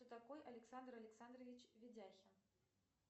кто такой александр александрович видяхин